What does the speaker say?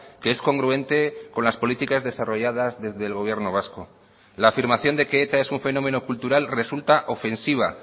que es congruente con las políticas desarrolladas desde el gobierno vasco la afirmación de que eta es un fenómeno cultural resulta ofensiva